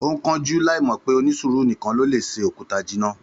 Ó ń kánjú láì mọ̀ pé onísùúrù nìkan ló lè se òkúta jinná